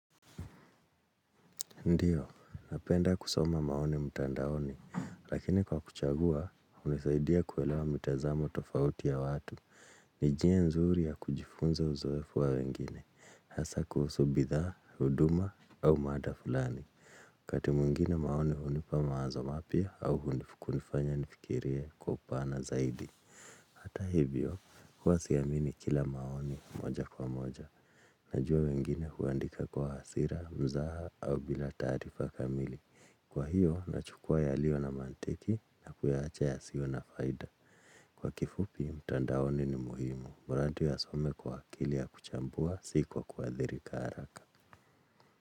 Ndiyo, napenda kusoma maoni mtandaoni, lakini kwa kuchagua, hunisaidia kuelewa mitazamo tofauti ya watu. Ni njia nzuri ya kujifunza uzoefu wa wengine, hasa kuhusu bidhaa, huduma, au mada fulani. Kati mwingine maoni hunipa mawazo mapya, au kunifanya nifikirie kwa upana zaidi. Hata hivyo, kuwa siamini kila maoni moja kwa moja. Najua wengine kuandika kwa hasira, mzaha, au bila taarifa kamili. Kwa hiyo, nachukua yaliyo na mantiki na kuyaacha ya sio na faida. Kwa kifupi, mtandaoni ni muhimu. Wawatu ya some kwa akili ya kuchambua, si kwa kuadhirika haraka.